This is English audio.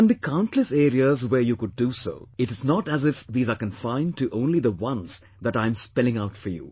There can be countless areas where you could do so; it is not as if these are confined to only the ones that I am spelling out for you